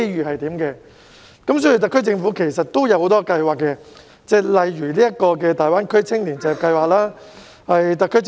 其實，特區政府已推出多項計劃，例如大灣區青年就業計劃。